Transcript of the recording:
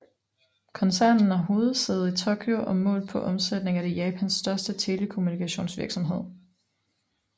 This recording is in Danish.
Koncernen har hovedsæde i Tokyo og målt på omsætning er det Japans største telekommunikationsvirksomhed